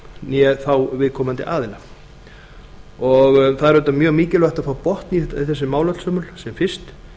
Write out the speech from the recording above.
né þá viðkomandi aðila það er auðvitað mjög mikilvægt að fá botn í þessi mál öll sömul sem fyrst